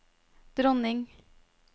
dronning